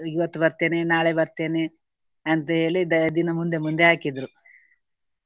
ಇವತ್ತು ಬರ್ತೇನೆ ನಾಳೆ ಬರ್ತೇನೆ ಅಂತ ಹೇಳಿ ದ~ ದಿನ ಮುಂದೆ ಮುಂದೆ ಹಾಕಿದ್ರು.